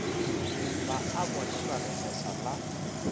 ba a bonelwa lekgeswa la